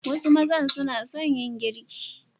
Some men love to cook